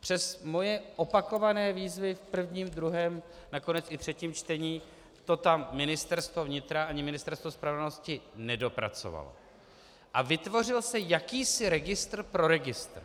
přes moje opakované výzvy v prvním, druhém, nakonec i třetím čtení to tam Ministerstvo vnitra ani Ministerstvo spravedlnosti nedopracovaly a vytvořil se jakýsi registr pro registr.